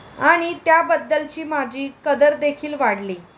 आणि त्याबद्दलची माझी कदरदेखील वाढली.